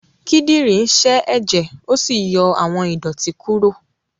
Kídìrí sẹ́ èjẹ̀ ó sì yọ àwọn ìdọ̀tí kúrò.